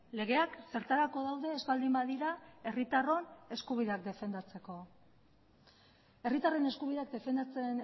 legeak zertarako daude ez baldin badira herritarron eskubideak defendatzeko herritarren eskubideak defendatzen